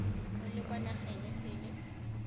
o le kwa nageng esele